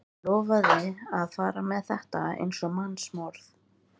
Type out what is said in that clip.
Lofaði að fara með þetta eins og mannsmorð.